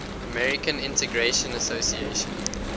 american integration association